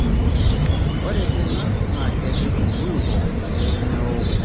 Ore tena naa kerrip nkulupuok pee meok enkop enkare asioki.